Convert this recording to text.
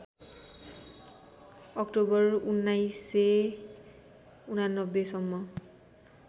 October १९८९ सम्म